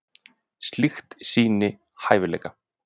Slíkt sýni hæfileika.